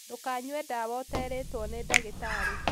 Ndũkanywe dawa ũterĩtwo nĩ ndagĩtarĩ